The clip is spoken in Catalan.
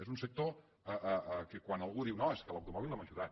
és un sector que quan algú diu no és que l’automòbil l’hem ajudat